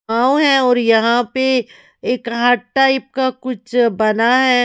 गांव है और यहां पे एक हार्ट टाइप का कुछ बना है।